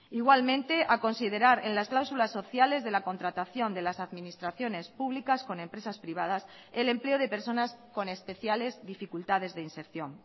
igualmente a considerar en las cláusulas sociales de la contratación de las administraciones públicas con empresas privadas el empleo de personas con especiales dificultades de inserción